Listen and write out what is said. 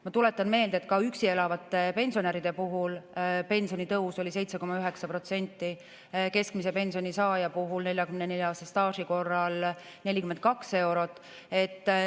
Ma tuletan meelde, et ka üksi elavate pensionäride puhul pensionitõus oli 7,9%, keskmise pensioni saaja puhul, 44-aastase staaži korral 42 eurot.